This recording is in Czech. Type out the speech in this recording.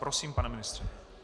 Prosím, pane ministře.